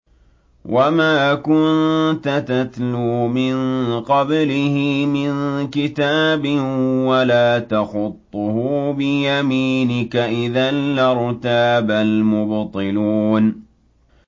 وَمَا كُنتَ تَتْلُو مِن قَبْلِهِ مِن كِتَابٍ وَلَا تَخُطُّهُ بِيَمِينِكَ ۖ إِذًا لَّارْتَابَ الْمُبْطِلُونَ